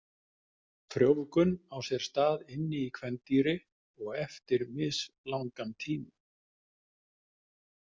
Frjóvgun á sér stað inni í kvendýri og eftir mislangan tíma.